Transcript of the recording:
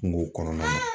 Kungo kɔnɔna na